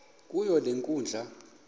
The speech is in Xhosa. kuyo le nkundla